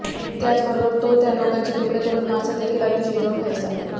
त्याचबरोबर तो त्या लोकांचे तुकडे करून मांस देखील अगदी शिजवून खायचा